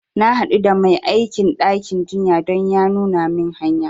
Na haɗu da mai aikin ɗakin jinya don ya nuna min hanya